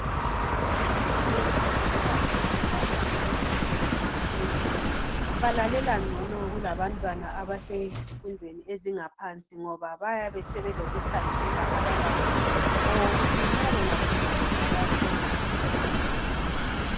Ngiyananzelela ukuthi abantwana nxa sebese makolitshini balalela ngcono kulabantwana abasezifundweni ezingaphansi ngoba bayabe sebelokukhangelela abalakho okokuthi nxa bangaphumelela bayathola imisebenzi.